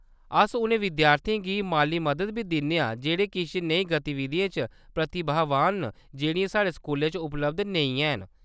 अस उ'नें विद्यार्थियें गी माली मदद बी दिन्ने आं जेह्‌‌ड़े किश नेही गतिविधियें च प्रतिभावान न जेह्‌‌ड़ियां साढ़े स्कूलै च उपलब्ध नेईं हैन।